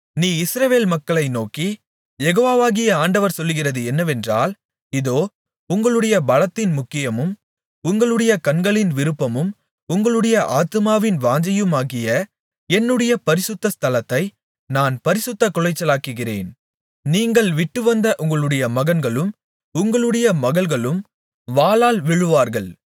நீ இஸ்ரவேல் மக்களை நோக்கி யெகோவாகிய ஆண்டவர் சொல்லுகிறது என்னவென்றால் இதோ உங்களுடைய பலத்தின் முக்கியமும் உங்களுடைய கண்களின் விருப்பமும் உங்களுடைய ஆத்துமாவின் வாஞ்சையுமாகிய என்னுடைய பரிசுத்த ஸ்தலத்தை நான் பரிசுத்தக்குலைச்சலாக்குகிறேன் நீங்கள் விட்டுவந்த உங்களுடைய மகன்களும் உங்களுடைய மகள்களும் வாளால் விழுவார்கள்